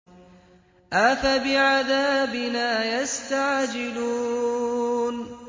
أَفَبِعَذَابِنَا يَسْتَعْجِلُونَ